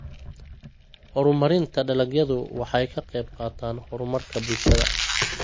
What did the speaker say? Horumarinta dalagyadu waxay ka qaybqaataan horumarka bulshada.